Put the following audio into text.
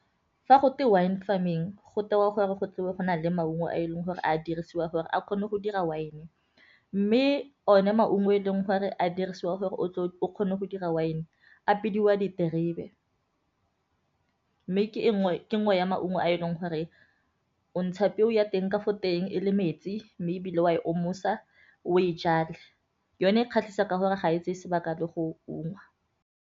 Fa go twe Wine Farming go tewa gore go tle go na le maungo a e leng gore a dirisiwa gore a kgone go dira wine-e mme o ne maungo e leng gore a dirisiwa gore tle o kgone go dira wine-e a bidiwa diterebe, mme ke nngwe ya maungo a e leng gore o ntsha peo ya teng ka fo teng e le metsi mme e bile wa e omosa o e jale yone kgatlhisa ka gore ga e tseye sebaka le go ungwa.